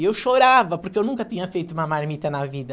E eu chorava, porque eu nunca tinha feito uma marmita na vida.